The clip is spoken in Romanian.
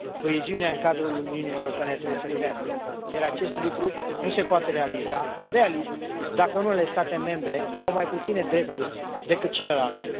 Coeziunea în cadrul Uniunii Europene trebuie să crească, iar acest lucru nu se poate realiza, realist, dacă unele state membre au mai puține drepturi decât celelalte.